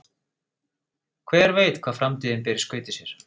Hver veit hvað framtíðin ber í skauti sér?